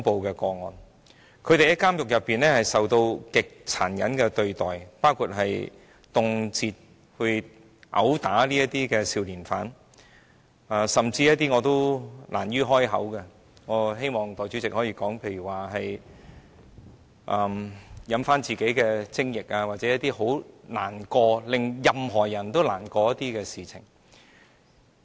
少年犯在監獄中受到極殘忍的對待，包括動輒被毆打，甚至遭受我亦難於啟齒的情況——代理主席，我希望說出來——例如是嚥下自己的精液或其他教人感到難過的事情。